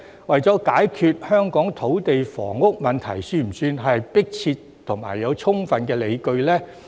為了解決香港的土地房屋問題，算不算迫切和具有充分理據呢？